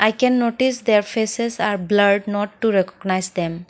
we can notice their faces are blurred not to recognise them.